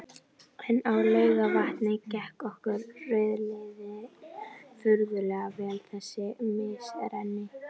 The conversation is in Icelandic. En á Laugarvatni gekk okkur rauðliðum furðu vel þessi misserin.